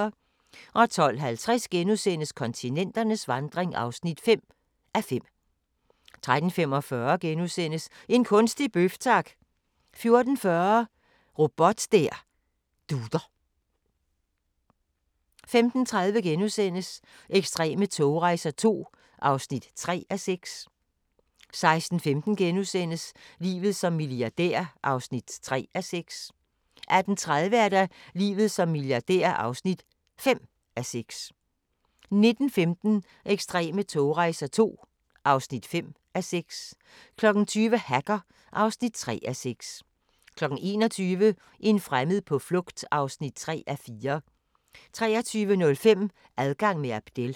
12:50: Kontinenternes vandring (5:5)* 13:45: En kunstig bøf, tak! * 14:40: Robot der dutter 15:30: Ekstreme togrejser II (3:6)* 16:15: Livet som milliardær (3:6)* 18:30: Livet som milliardær (5:6) 19:15: Ekstreme togrejser II (5:6) 20:00: Hacker (3:6) 21:00: En fremmed på flugt (3:4) 23:05: Adgang med Abdel